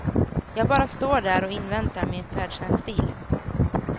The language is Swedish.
Jag bara står där och inväntar min färdtjänstbil.